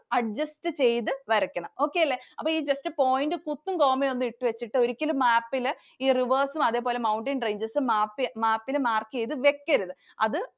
adjust ചെയ്തു വരക്കണം. Okay അല്ലേ. അപ്പൊ just കുത്തും, comma യും ഇട്ടു വച്ചിട്ട് ഒരിക്കലും map ഇല് ഈ rivers ഉം, അതുപോലെ mountain ranges ഉം map ഇല് mark ചെയ്ത് വക്കരുത്. അത്